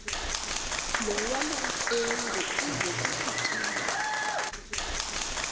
nolwamamfengu ize kusitiya